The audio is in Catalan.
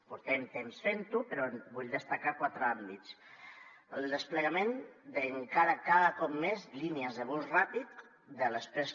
portem temps fent lo però vull destacar quatre àmbits el desplegament cada cop més de línies de bus ràpid de l’exprés